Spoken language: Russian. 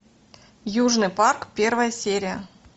южный парк первая серия